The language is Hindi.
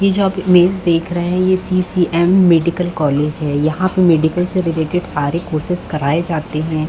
ये जो आप इमेज देख रहै है ये C C M medical college है यहाँ पे मेडिकल से रिलेटेड सारे कोर्सेस कराये जाते है।